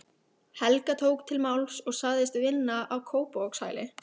Helga tók til máls og sagðist vinna á Kópavogshæli.